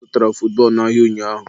Ọ zụtara futbọọlụ n'ahịa ụnyaahụ.